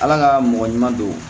Ala ka mɔgɔ ɲuman don